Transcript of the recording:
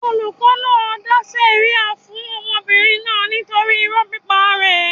Olùkọ́ náà dá sẹ̀ríà fún ọmọdébìnrin náà nítorí irọ́ pípa rẹ̀.